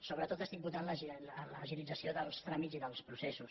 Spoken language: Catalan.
sobretot estic votant l’agilització dels tràmits i dels processos